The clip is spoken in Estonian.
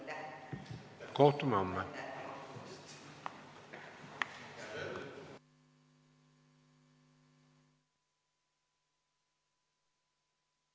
Istungi lõpp kell 18.58.